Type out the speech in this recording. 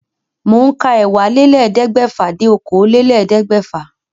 Mò ń ka ẹ́wàálélẹ́ẹ̀ẹ́dẹ́gbẹ́fà dé okòólélẹ́ẹ̀ẹ́dẹ́gbẹ́fà